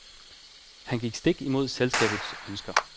Han gik stik imod selskabets ønsker.